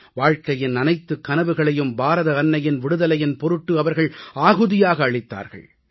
வாழ்கையின் அனைத்துக் கனவுகளையும் பாரத அன்னையின் விடுதலையின் பொருட்டு அவர்கள் அர்ப்பணமாக அளித்தார்கள்